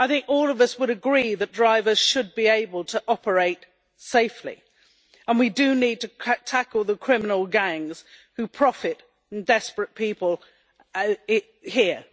All of us would agree that drivers should be able to operate safely, and we do need to tackle the criminal gangs who profit from desperate people here.